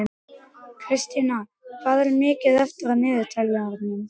Kristína, hvað er mikið eftir af niðurteljaranum?